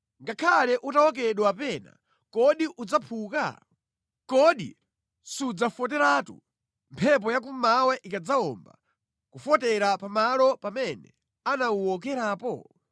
Ngakhale utawokedwa pena, kodi udzaphuka? Kodi sudzafoteratu mphepo ya kummawa ikadzawomba, kufotera pa malo pamene anawuwokerapo?’ ”